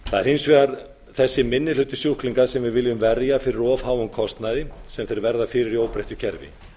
hins vegar þessi minni hluti sjúklinga sem við viljum verja fyrir of háum kostnaði sem þeir verða fyrir í óbreyttu kerfi ég vil